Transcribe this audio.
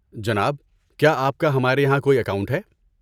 جناب، کیا آپ کا ہمارے یہاں کوئی اکاؤنٹ ہے؟